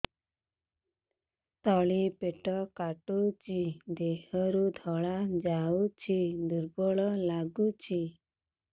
ତଳି ପେଟ କାଟୁଚି ଦେହରୁ ଧଳା ଯାଉଛି ଦୁର୍ବଳ ଲାଗୁଛି